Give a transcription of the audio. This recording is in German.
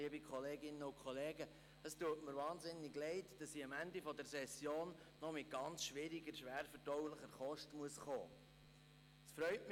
Es tut mir wahnsinnig leid, dass ich am Ende der Session mit ganz schwieriger, schwerverdaulicher Kost kommen muss.